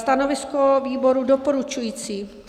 Stanovisko výboru: doporučující.